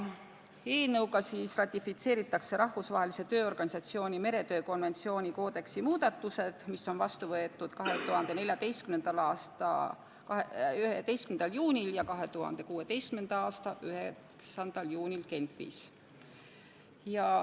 Eelnõuga ratifitseeritakse Rahvusvahelise Tööorganisatsiooni meretöö konventsiooni koodeksi muudatused, mis võeti vastu 2014. aasta 11. juunil ja 2016. aasta 9. juunil Genfis.